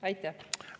Aitäh!